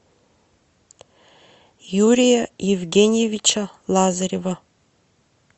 юрия евгеньевича лазарева